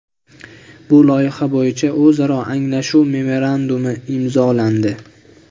Bu loyiha bo‘yicha o‘zaro anglashuv memorandumi imzolandi.